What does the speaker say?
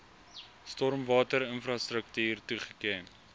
stormwater infrastruktuur toegeken